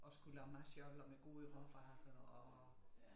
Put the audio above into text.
At skulle lave mad selv og med gode råvarer og